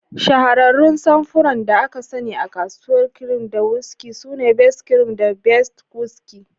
Shahararrun samfuran da aka sani a kasuwar kirim da whiskey sune Best Cream da Best Whiskey.